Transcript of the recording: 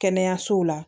Kɛnɛyasow la